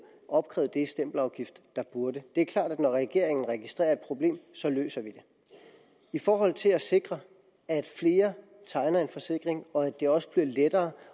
opkrævet det i stempelafgift der burde det er klart at når regeringen registrerer et problem så løser vi det i forhold til at sikre at flere tegner en forsikring og at det også bliver lettere